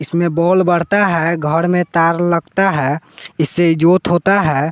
इसमें बोल बढ़ता है घर में तार लगता है इसे जोत होता है।